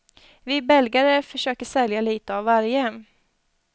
Vi belgare försöker sälja lite av varje.